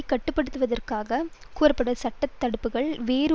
கட்டுப்படுத்தியதாக கூறப்பட்ட சட்ட தடுப்புக்கள் வேறு